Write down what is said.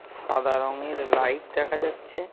সাদা রঙের লাইট দেখা যাচ্ছে।